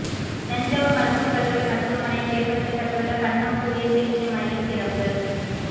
தஞ்சாவூர் மருத்துவக் கல்லூரி மருத்துவமனையில் ஏற்படுத்தப்பட்டுள்ள பன்னோக்கு உயர் சிகிச்சை மையம் திறப்பு